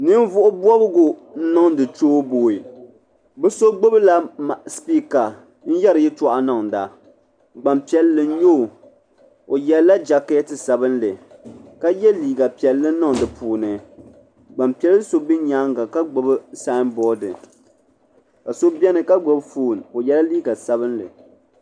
Ninvuɣu bobgu n niŋdi choboyi bɛ so gbibla sipiika n yeri yɛltɔɣa niŋda gbampiɛlli n nyɛ o o yela jaketi sabinli ka ye liiga piɛli niŋ di puuni gbanpiɛli so be nyaanga ka gbibi sabori ka so biɛni ka gbibi fooni o yela liiga sabinli.